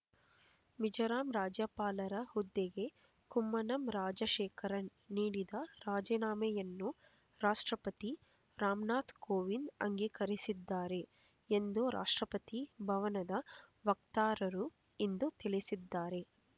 ಮಿಜೋರಾಂ ರಾಜ್ಯಪಾಲರ ಹುದ್ದೆಗೆ ಕುಮ್ಮನಂ ರಾಜಶೇಖರನ್ ನೀಡಿದ್ದ ರಾಜೀನಾಮೆಯನ್ನು ರಾಷ್ಟ್ರಪತಿ ರಾಮನಾಥ್ ಕೋವಿಂದ್ ಅಂಗೀಕರಿಸಿದ್ದಾರೆ ಎಂದು ರಾಷ್ಟ್ರಪತಿ ಭವನದ ವಕ್ತಾರರು ಇಂದು ತಿಳಿಸಿದ್ದಾರೆ